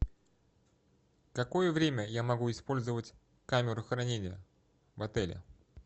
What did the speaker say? какое время я могу использовать камеру хранения в отеле